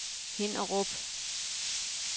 Hinnerup